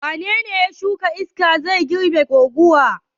Wane ne ya shuka iska zai girbe guguwa?